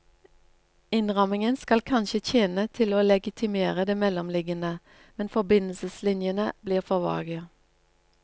Innrammingen skal kanskje tjene til å legitimere det mellomliggende, men forbindelseslinjene blir for vage.